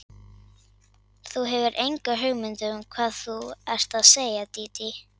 Þú hefur enga hugmynd um hvað þú ert að segja, Dídí.